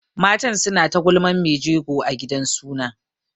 Matan suna ta gulman mai jegon a gidan suna.